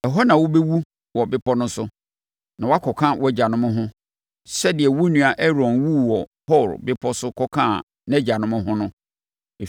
Ɛhɔ na wobɛwu wɔ bepɔ no so, na woakɔka wʼagyanom ho, sɛdeɛ wo nua Aaron wuu wɔ Hor bepɔ so kɔkaa nʼagyanom ho no.